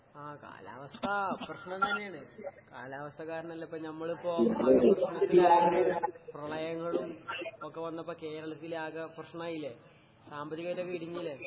ആഹ് കാലാവസ്ഥ പ്രശ്നം തന്നേണ്. കാലാവസ്ഥ കാരണല്ലേപ്പ ഞമ്മളിപ്പോ പ്രളയങ്ങളും ഒക്കെ വന്നപ്പ കേരളത്തിലാകെ പ്രശ്നായീലെ. സാമ്പത്തികായിട്ടൊക്കെ ഇടുങ്ങീലെ.